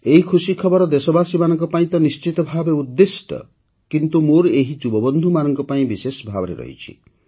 ଏହି ଖୁସି ଖବର ଦେଶବାସୀମାନଙ୍କ ପାଇଁ ତ ନିଶ୍ଚିତ ଭାବେ ଉଦ୍ଦିଷ୍ଟ କିନ୍ତୁ ମୋର ଏହି ଯୁବବନ୍ଧୁମାନଙ୍କ ପାଇଁ ବିଶେଷଭାବେ ରହିଛି